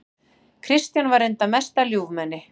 Kristján var reyndar mesta ljúfmenni.